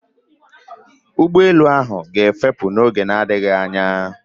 Ụgbọelu a ga-efepù n'oge na-adịghị anya